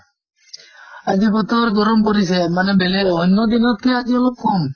আজি বতৰ গৰম পৰিছে, মানে বেলেগ অন্য় দিনতকে আজি অলপ কম